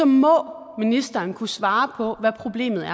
må ministeren kunne svare på hvad problemet er